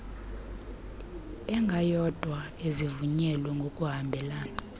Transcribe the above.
engayodwa ezivulwe ngokuhambelana